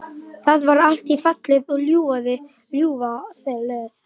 Það var allt fallið í ljúfa löð.